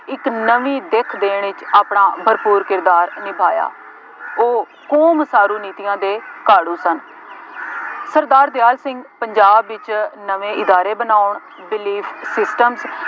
ਇੱਕ ਨਵੀਂ ਦਿੱਖ ਦੇਣ ਵਿੱਚ ਆਪਣਾ ਭਰਪੂਰ ਕਿਰਦਾਰ ਨਿਭਾਇਆ। ਉਹ ਕੌਮ ਉਸਾਰੂ ਨੀਤੀਆਂ ਦੇ ਘਾੜੂ ਸਨ। ਸਰਦਾਰ ਦਿਆਲ ਸਿੰਘ ਪੰਜਾਬ ਵਿੱਚ ਨਵੇਂ ਅਦਾਰੇ ਬਣਾਉਣ